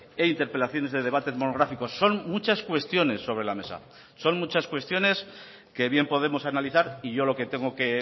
e interpelaciones de debates monográficos son muchas cuestiones sobre la mesa son muchas cuestiones que bien podemos analizar y yo lo que tengo que